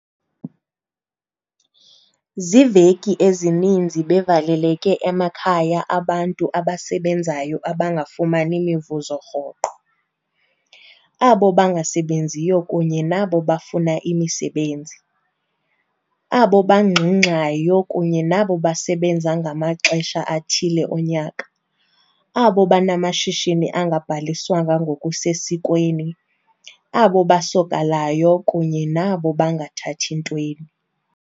Ziveki ezininzi bevaleleke emakhaya abantu abasebenzayo abangafumani mivuzo rhoqo, abo bangasebenziyo kunye nabo bafuna imisebenzi, abo bangxungxayo kunye nabo basebenza ngamaxesha athile onyaka, abo banamashishini angabhaliswanga ngokusesikweni, abo basokalayo kunye nabo bangathathi ntweni.